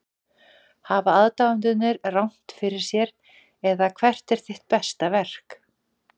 Hafa aðdáendurnir rangt fyrir sér eða hvert er þitt besta verk?